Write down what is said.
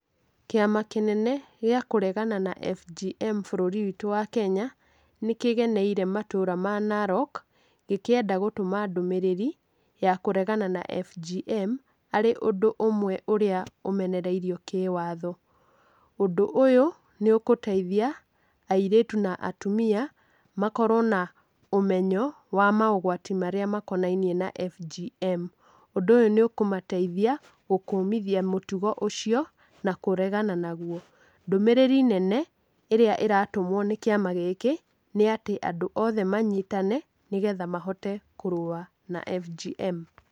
Kĩama kĩnene gĩa kũregana na FGM bũrũri wĩtũ wa Kenya nĩkĩgenĩire matũra ma Narok gĩkĩenda gũtũma ndũmĩrĩri ya kũregana na FGM harĩ ũndũ ũmwe ũrĩa ũmenereirwo kĩwatho. Ũndũ ũyũ nĩ ũgũteithia aĩrĩtu na atumia makorwe na ũmenyo wa maũgwati marĩa makonainie na FGM,ũndũ ũyũ nĩũkũmateithia gũkũmithia mũtũgo ũcio na kũrega nauo. Ndũmĩrĩri nene ĩrĩa ĩratũmwo nĩ kĩama gĩkĩ nĩatĩ andũ othe manyitane nĩgetha mahote kũrũa na FGM.